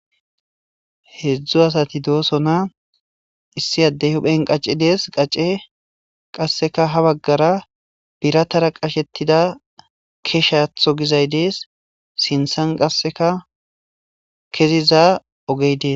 heedzdzu asati dooso na issi addey huphen qacedees qace qasseka ha baggara biratara qashetida keshatho gizay dees sinthan qasseka keziza ogey dees